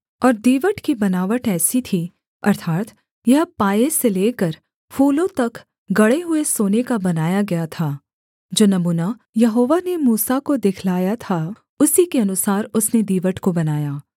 और दीवट की बनावट ऐसी थी अर्थात् यह पाए से लेकर फूलों तक गढ़े हुए सोने का बनाया गया था जो नमूना यहोवा ने मूसा को दिखलाया था उसी के अनुसार उसने दीवट को बनाया